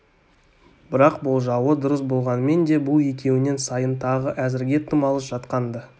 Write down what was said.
бірақ болжауы дұрыс болғанмен де бұл екеуінен сайын тағы әзірге тым алыс жатқан-ды